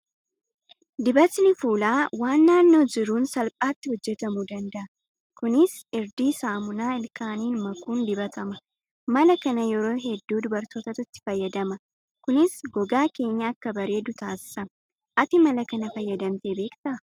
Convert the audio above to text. Dibatni fuulaa waan naannoo jiruun salphaatti hojjatamuu danda'a. Kunis irdii saamunaa ilkaaniin makuun dibatama. Mala kana yeroo hedduu dubartootatu itti fayyadama. Kunis gogaa keenya akka bareedu taasisa. Ati mala kana fayyadamtee beektaa?